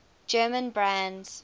german brands